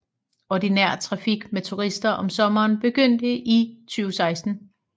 Ordinær trafik med turister om sommeren begyndte i 2016